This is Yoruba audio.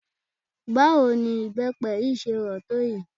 Báwo ni ibepe yìí ṣe rò tó èyí?